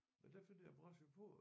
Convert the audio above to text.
Men der fandt jeg brachiopod